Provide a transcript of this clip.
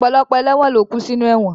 Ọ̀pọ̀lọpọ̀ ẹlẹ́won ló kú sinú ẹ̀wọ̀n